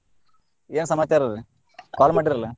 ಏನ್ ಸಮಾಚಾರ್ರೀ call ಮಾಡ್ರಲ್ಲ.